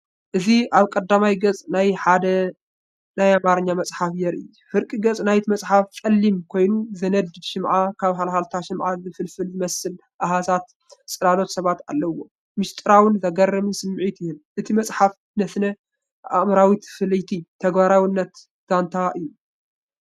እዚ ኣብ ቀዳማይ ገጽ ናይ ሓደ ናይ ኣምሓርኛ መጽሓፍ የርኢ። ፍርቂ ገጽ ናይቲ መጽሓፍ ጸሊም ኮይኑዝነድድ ሽምዓን ካብ ሃልሃልታ ሽምዓ ዝፍልፍል ዝመስል ኣሃዛት/ጽላሎት ሰባትን ኣለዎ። ምስጢራውን ዘገርምን ስምዒት ይህብ፤ እታ መጽሓፍ ስነ-ኣእምሮኣዊት ፍልይቲ ተግባራዊት ዛንታ እያ።